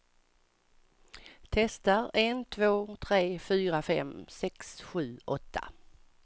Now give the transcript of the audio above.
Testar en två tre fyra fem sex sju åtta.